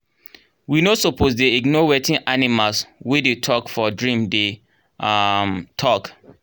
we no suppose dey ignore wetin animals wey dey talk for dream dey um talk